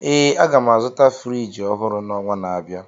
Ee, aga m azụta Friji ọhụrụ n'ọnwa na-abịa